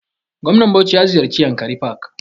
Gwamnan bauchi ya ziyarce yankari park